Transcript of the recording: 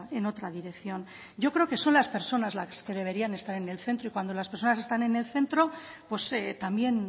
en otra dirección yo creo que son las personas las que deberían estar en el centro y cuando las personas están en el centro pues también